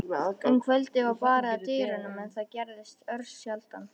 Um kvöldið var barið að dyrum, en það gerðist örsjaldan.